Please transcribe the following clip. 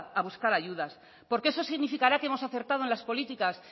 a buscar ayudas porque eso significará que hemos acertado en las políticas